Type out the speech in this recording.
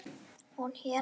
Hún hét